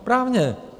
Správně.